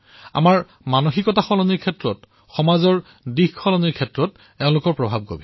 আমাৰ মানসিকতা পৰিৱৰ্তনত সমাজৰ দিশ পৰিৱৰ্তন